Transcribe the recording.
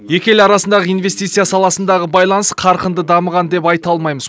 екі ел арасындағы инвестиция саласындағы байланыс қарқынды дамыған деп айта алмаймыз